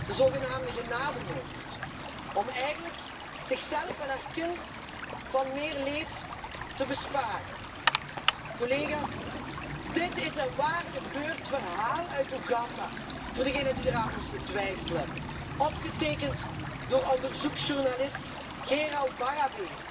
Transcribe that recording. de zogenaamde genademoord om eigenlijk zichzelf en haar kind meer leed te besparen. Collega's, dit is een waargebeurd verhaal uit Oeganda voor degenen die eraan zouden twijfelen opgetekend door onderzoeksjournalist Gerald Bareebe